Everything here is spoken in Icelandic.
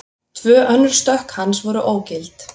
Tvö önnur stökk hans voru ógild